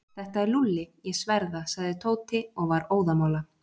Þetta er Lúlli, ég sver það. sagði Tóti og var óðamála.